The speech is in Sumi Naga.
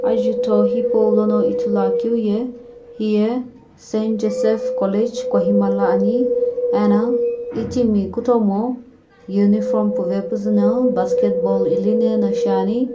ajutho hipaulono ithuluakeu ye hiye St Joseph College Kohima la ani ena itimi kutomo uniform puvepuzu na basketball ilinena shiani.